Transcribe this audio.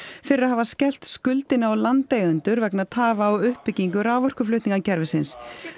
fyrir að hafa skellt skuldinni á landeigendur vegna tafa á uppbyggingu raforkuflutningskerfisins